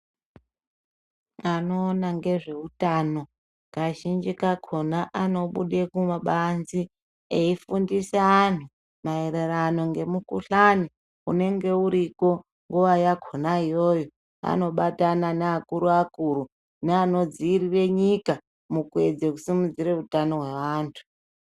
Anoona ngezveutano kazhinji kachona anobude kumabanze eifundise anhu maererano ngemukhuhlani unenge uriko nguwa yakhona iyoyo anobatana neakuru akuru neanodziirire nyika mukuedze kusimudzire utano hwaantu.